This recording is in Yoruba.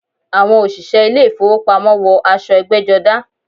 Àwọn òṣìṣẹ́ ilé ìfowópamọ́ wọ aṣọ ẹgbẹ́jọdá.